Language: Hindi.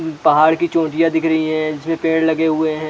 पहाड़ की चोटियाँ दिख रही है जिसमे पेड़ लगे हुए है।